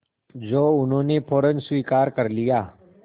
जो उन्होंने फ़ौरन स्वीकार कर लिया